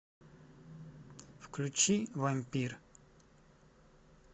включи вампир